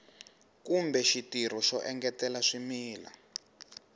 kumbe xitirho xo engetela swimila